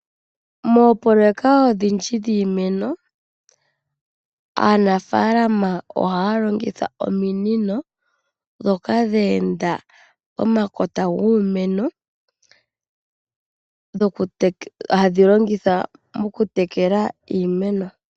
Moopoloweka odhindji dhiimeno aanafaalama ohaya longitha ominino ndhoka dhe enda pomakota giimeno hadhilongithwa okutekela iimeno.